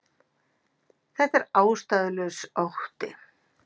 Þetta er ástæðulaus ótti